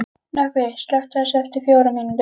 Nökkvi, slökktu á þessu eftir fjórar mínútur.